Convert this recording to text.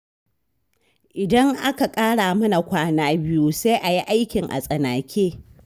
Idan aka ƙara mana kwana biyu, sai a yi aikin a tsanake